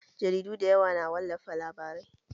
Jaridu da yawa na wallafa labarai